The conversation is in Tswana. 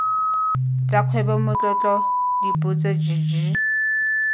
tsa kgwebo matlotlo dipotso jj